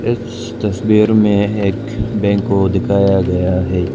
इस तस्वीर में एक बैंक को दिखाया गया है।